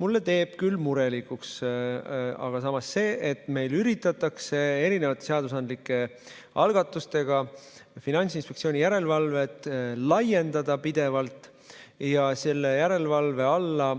Mind teeb murelikuks aga see, et meil üritatakse mitmesuguste seadusandlike algatustega Finantsinspektsiooni järelevalvealast pädevust pidevalt laiendada ja selle alla